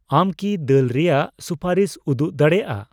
ᱟᱢ ᱠᱤ ᱫᱟᱹᱞ ᱨᱮᱭᱟᱜ ᱥᱩᱯᱟᱹᱨᱤᱥ ᱩᱫᱩᱜ ᱫᱟᱲᱮᱭᱟᱜᱼᱟ ?